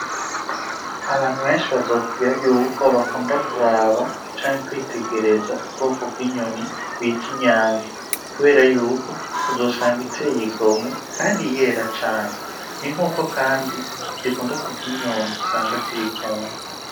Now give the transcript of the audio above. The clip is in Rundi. Abantu benshi bazokubwira yuko bakunda kuraba canke kwitegereza ubwoko bw'inyoni bwitwa inyange kubera yuko uzosanga iteye igomwe Kandi yera cane, ni nkuko Kandi zikunda kurya inyondwi usanga ziri ku Nka.